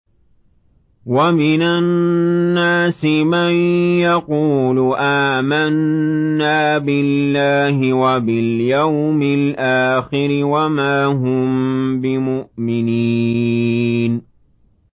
وَمِنَ النَّاسِ مَن يَقُولُ آمَنَّا بِاللَّهِ وَبِالْيَوْمِ الْآخِرِ وَمَا هُم بِمُؤْمِنِينَ